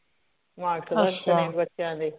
marks ਦੱਸਣੇ ਬੱਚਿਆਂ ਦੇ